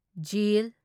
ꯖ